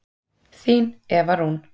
Þín Eva Rún.